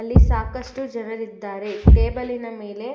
ಅಲ್ಲಿ ಸಾಕಷ್ಟು ಜನರಿದ್ದಾರೆ ಟೇಬಲ್ ಇನ ಮೇಲೆ--